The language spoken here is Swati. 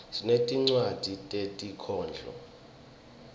sinetincwadzi tetinkhondlo